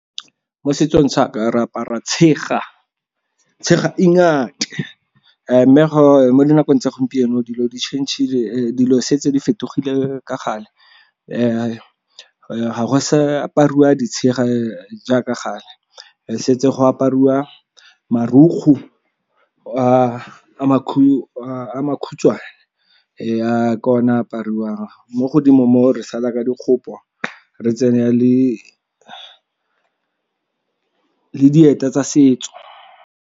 Mo setsong sa a ka re apara tshega, tshega mme mo dinakong tsa gompieno dilo di tšhentšhile dilo setse di fetogile ka gale. Ga go sa apariwa ditshega jaaka gale, go setse go apariwa marukgo a makhutshwane jaaka one apariwang mo godimo mo re sala ka dikgopo re tsene le dieta tsa setso.